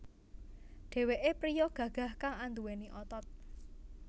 Dheweké priya gagah kang anduweni otot